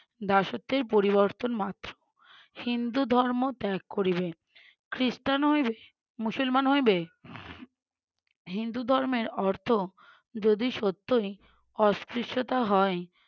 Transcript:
দাসত্বের পরিবর্তন মাত্র। হিন্দু ধর্ম ত্যাগ করিবে, খ্রিস্টান হইবে মুসলমান হইবে হিন্দু ধর্মের অর্থ যদি সত্যই অস্পৃশ্যতা হয়,